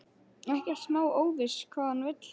Ekkert smá óviss hvað hann vill.